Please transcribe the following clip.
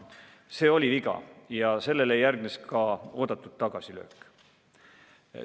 See oli viga ja sellele järgnes ka eeldatud tagasilöök.